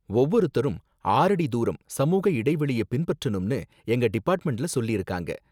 ஒவ்வொருத்தரும் ஆறடி தூரம் சமூக இடைவெளிய பின்பற்றனும்னு எங்க டிபார்ட்மெண்ட்ல சொல்லிருக்காங்க